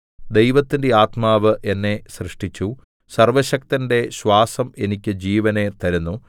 ദൈവത്തിന്റെ ആത്മാവ് എന്നെ സൃഷ്ടിച്ചു സർവ്വശക്തന്റെ ശ്വാസം എനിക്ക് ജീവനെ തരുന്നു